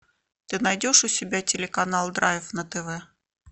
ты найдешь у себя телеканал драйв на тв